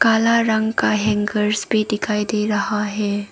काला रंग का हैंगरस भी दिखाई दे रहा है।